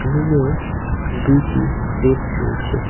রুমে দুইটি বেড রয়েছে.